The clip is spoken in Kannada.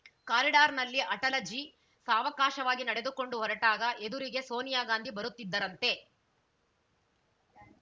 ಕಾರಿಡಾರ್‌ನಲ್ಲಿ ಅಟಲಜಿ ಸಾವಕಾಶವಾಗಿ ನಡೆದುಕೊಂಡು ಹೊರಟಾಗ ಎದುರಿಗೆ ಸೋನಿಯಾ ಗಾಂಧಿ ಬರುತ್ತಿದ್ದರಂತೆ